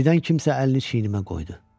Birdən kimsə əlini çiynimə qoydu.